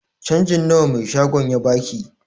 Canjin nawa mai shagon ya baki?